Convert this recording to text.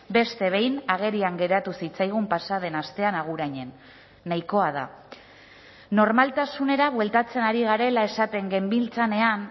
beste behin agerian geratu zitzaigun pasa den astean agurainen nahikoa da normaltasunera bueltatzen ari garela esaten genbiltzanean